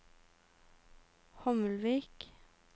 Hommelvik